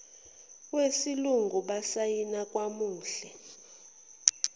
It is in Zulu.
wesilungu basayina kwamuhle